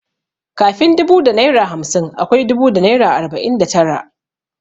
Kafin dubu da naira hamsin akwai dubu da naira arbanin da tara.